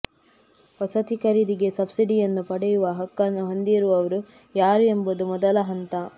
ವಸತಿ ಖರೀದಿಗೆ ಸಬ್ಸಿಡಿಯನ್ನು ಪಡೆಯುವ ಹಕ್ಕನ್ನು ಹೊಂದಿರುವವರು ಯಾರು ಎಂಬುದು ಮೊದಲ ಹಂತ